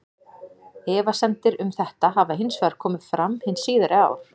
Efasemdir um þetta hafa hins vegar komið fram hin síðari ár.